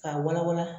K'a wala wala